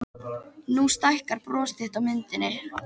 Nú stækkar bros þitt á myndinni.